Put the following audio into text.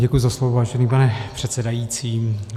Děkuji za slovo, vážený pane předsedající.